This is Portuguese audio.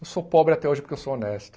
Eu sou pobre até hoje porque eu sou honesto.